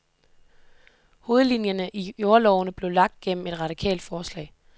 Hovedlinjerne i jordlovene blev lagt gennem et radikalt forslag.